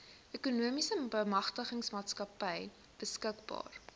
ekonomiese bemagtigingsmaatskappy beskikbaar